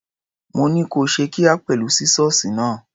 Mo ní kó ṣe kíá pẹ̀lú sísọ́ọ̀sì náà.